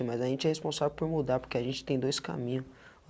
Mas a gente é responsável por mudar, porque a gente tem dois caminho.